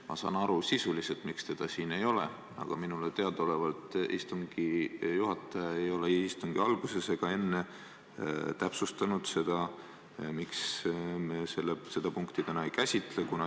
Ma saan sisuliselt aru, miks seda siin ei ole, aga minule teadaolevalt istungi juhataja ei istungi alguses ega hiljem ei täpsustanud, miks me seda punkti täna ei käsitle.